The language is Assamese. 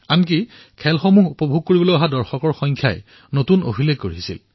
ফিফা ১৭ অনুৰ্ধ বিশ্বকাপত দৰ্শকৰ সংখ্যাইও এক অভিলেখ ৰচনা কৰিছিল